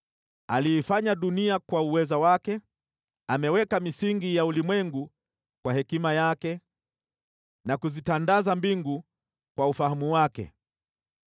“Aliiumba dunia kwa uweza wake; akaweka misingi ya ulimwengu kwa hekima yake na akazitandaza mbingu kwa ufahamu wake.